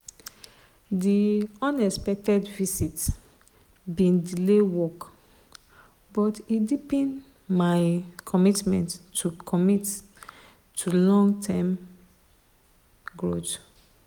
di unexpected visit bin delay work but e deepen my commitment to commitment to long-term growth.